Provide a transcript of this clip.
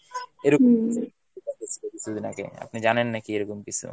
এরকম কিছুদিন আগে আপনি জানেন নাকি এরকম কিছু?